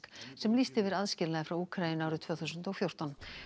sem lýsti yfir aðskilnaði frá Úkraínu árið tvö þúsund og fjórtán